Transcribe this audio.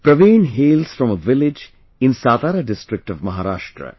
Praveen hails from a village in Satara district of Maharashtra